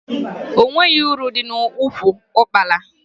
O nweghi uru dị n'ụkwụ ụkpala